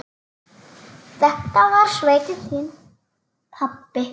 Þetta var sveitin þín, pabbi.